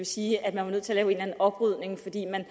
sige at man var nødt til at eller anden oprydning fordi man